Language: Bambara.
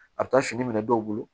A bɛ taa fini minɛ dɔw bolo